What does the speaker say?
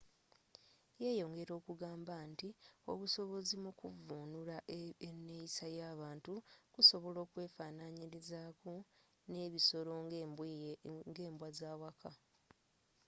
yeyongela okugamba nti obusobozi mu kuvvunula eneeyisa y'abantu kusobola okwefaananyirizaako n'ebisolo nga embwa z'awaka